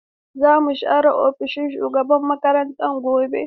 Zaku share ofishin shugaban makarantar gobe.